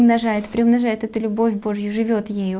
умножает преумножают эту любовь божью живёт ею